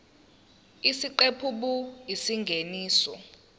isiqephu b isingeniso